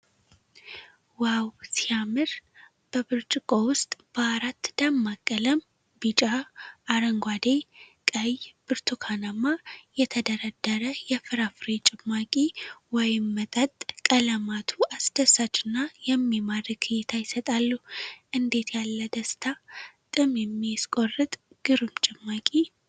ዋው ሲያምር! በብርጭቆ ውስጥ በአራት ደማቅ ቀለም (ቢጫ፣ አረንጓዴ፣ ቀይ፣ ብርቱካናማ) የተደረደረ የፍራፍሬ ጭማቂ ወይም መጠጥ። ቀለማቱ አስደሳችና የሚማርክ እይታ ይሰጣሉ። እንዴት ያለ ደስታ! ጥም የሚያስቆርጥ ግሩም ጭማቂ።